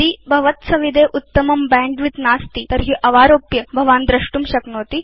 यदि भव द्सविधे उत्तमं बैण्डविड्थ नास्ति तर्हि भवान् अवारोप्य द्रष्टुं शक्नोति